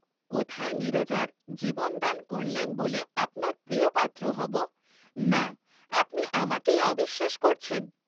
কোথায় নীরজার জীবনদান করলেম বলে আপনার প্রিয়পাত্র হব, না আপনি আমাকেই অবিশ্বাস করছেন।